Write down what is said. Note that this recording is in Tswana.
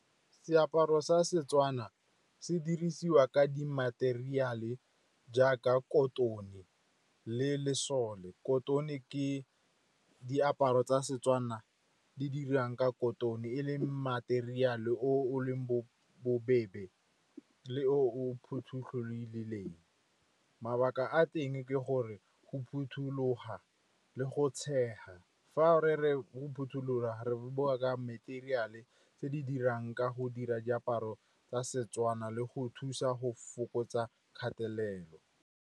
Seaparo sa seTswana se dirisiwa ka di materiale jaaka kotone le lesole. Kotone ke diaparo tsa seTswana di dirang ka kotone, e leng materiale o o leng bobebe le o . Mabaka a teng ke gore go phuthuloga le go tshega. Fa re re o phothulola, re bua ka matheriale tse di dirang ka go dira diaparo tsa seTswana le go thusa go fokotsa kgatelelo.